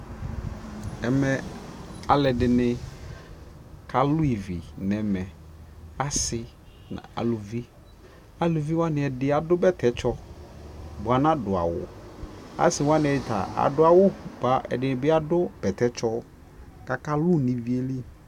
ɛmɛ alʋɛdini kalʋ ɛvi nʋɛmɛ, asii nʋ alʋvi, alʋvi waniɛdi adʋbɛtɛ tsɔ bʋa ana dʋ awʋ, asii wani ta adʋ awʋ kʋ ɛdinibi adʋ bɛtɛ tsɔ kʋ aka lʋ nʋ iviɛ li